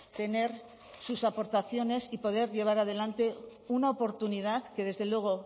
tener sus aportaciones y poder llevar adelante una oportunidad que desde luego